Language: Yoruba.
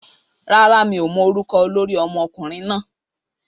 Rárá, mi ò mọ orúkọ olórí ọmọkùnrin náà